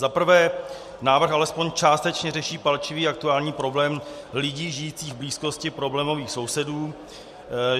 Za prvé, návrh alespoň částečně řeší palčivý aktuální problém lidí žijících v blízkosti problémových sousedů.